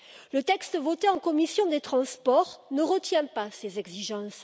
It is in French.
Le texte voté en commission des transports ne retient pas ces exigences.